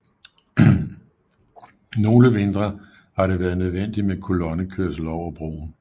Nogle vintre har det været nødvendigt med kolonnekørsel over broen